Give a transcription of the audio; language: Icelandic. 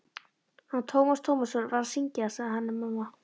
Hann Tómas Tómasson var að syngja, sagði Hanna-Mamma.